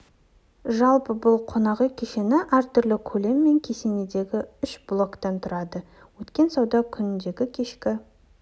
жалпы бұл қонақ үй кешені түрлі көлем мен кесіндегі үш блоктан тұрады өткен сауда күніндегі кешкі